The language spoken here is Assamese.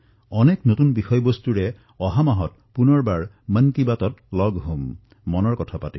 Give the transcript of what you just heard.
অহা মাহত পুনৰ বাৰ মন কী বাতত অনেক নতুন বিষয়ৰ কথা পাতিম